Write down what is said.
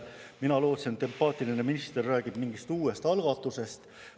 Mina lootsin, et empaatiline minister räägib mingist uuest algatusest.